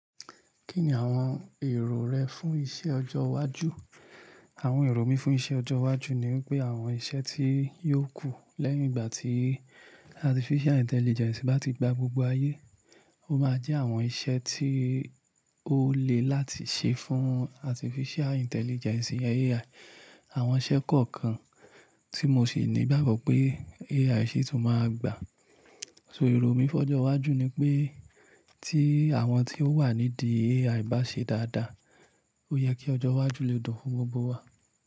Kí ni àwọn èrò rẹ fún iṣẹ́ ọjọ́ iwájú? Àwọn èrò mi fún iṣẹ́ ọjọ́ iwájú ni pé àwọn iṣẹ́ tí yóò kù lẹ́yìn ìgbà tí Artificial Intelligence bá ti gba gbogbo ayé, ó máa jẹ́ àwọn iṣẹ́ tí ó le láti ṣe fún Artificial Intelligence, iyen AI. Àwọn iṣẹ́ kọ̀ọ̀kan tí mo sì ní ìgbàgbọ́ pé AI ṣé tó máa gbà. So èrò mi fún ọjọ́ iwájú ni pé tí àwọn tí ó wà nídìí AI bá ṣe dáadáa, ó yẹ kí ọjọ́ iwájú le dùn fún gbogbo wa.